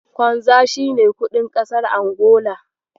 Kwanza shi ne kuɗin ƙasar Angola.